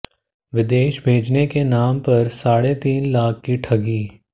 विदेश भेजने के नाम पर साढ़े तीन लाख की ठगी